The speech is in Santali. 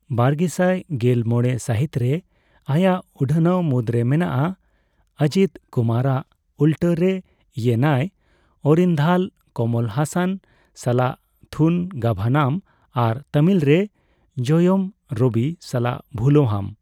ᱵᱟᱨᱜᱮᱥᱟᱭ ᱜᱮᱞ ᱢᱚᱲᱮ ᱥᱟᱹᱦᱤᱛᱨᱮ ᱟᱭᱟᱜ ᱩᱰᱷᱟᱣᱟᱱ ᱢᱩᱫᱽᱨᱮ ᱢᱮᱱᱟᱜᱼᱟ ᱚᱡᱤᱛᱷ ᱠᱩᱢᱟᱨᱟᱜ ᱩᱞᱴᱟᱹ ᱨᱮ ᱤᱭᱮᱱᱟᱭ ᱚᱨᱤᱱᱫᱷᱟᱞ, ᱠᱚᱢᱚᱞ ᱦᱟᱥᱟᱱ ᱥᱟᱞᱟᱜ ᱛᱷᱩᱱᱜᱟᱵᱷᱟᱱᱟᱢ ᱟᱨ ᱛᱟᱢᱤᱞ ᱨᱮ ᱡᱚᱭᱚᱢ ᱨᱚᱵᱤ ᱥᱟᱞᱟᱜ ᱵᱷᱩᱞᱳᱦᱚᱢ ᱾